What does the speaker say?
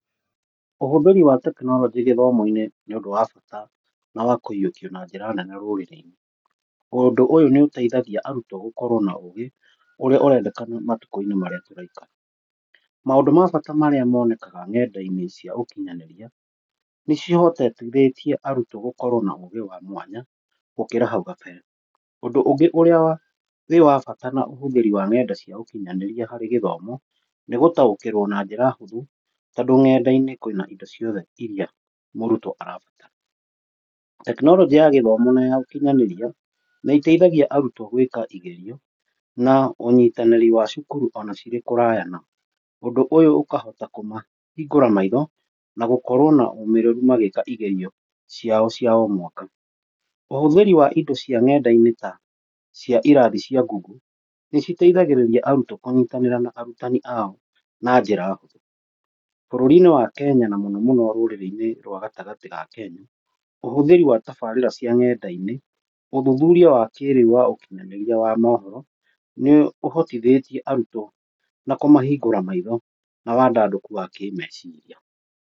Ũhũthĩri wa tekinoronjĩ gĩthomo-inĩ nĩũndũ wa bata na wa kũyũkio na njĩra nene rũrĩrĩ-inĩ. Ũndũ ũyũ nĩ ũteithagia arutwo gũkorwo na ũgĩ ũrĩa ũrendekana matukũ-inĩ marĩa tũraikara. Maũndũ ma bata marĩa monekaga ng'enda-inĩ cia ũkinyanĩria, nĩcihotithĩtie arutwo gũkorwo na ũgĩ wa mwanya gũkĩra hau gabere. Ũndũ ũngĩ ũrĩa wĩ wa bata na ũhũthĩri wa ng'enda cia ũkinyanĩria harĩ gĩthomo, nĩgũtaũkĩrwo na njĩra hũthũ tondũ ng'enda-inĩ kwĩna indo ciothe iria mũrutwo arabatara. Tekinoronjĩ ya gĩthomo na ũkinyanĩria nĩ ĩteithagia arutwo gwĩka igerio na ũnyitanĩri wa cukuru ona cirĩ kũraya nao. . Ũndũ úyũ ũkahota kũmahingũra maitho na gũkorwo na ũmĩrĩru magĩka igerio ciao cia o mwaka. Ũhũthĩri wa indo cia ng'enda-inĩ ta cia irathi cia Google, nĩciteithagĩrĩria arutwo kũnyitanĩra na arutani ao na njĩa hũthũ, bũrũri-inĩ wa Kenya na mũno mũno rũrĩrĩ-inĩ rwa gatagatĩ ga Kenya. Ũhũthĩri wa tabarĩra cia ng'enda-inĩ, ũthuthuria wa kĩrĩu wa ũkinyanĩria wa mohoro, nĩ ũhotithĩtie arutwo na kũmahingũra maitho na wandandũku wa kĩmeciria.